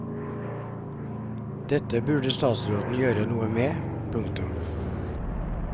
Dette burde statsråden gjøre noe med. punktum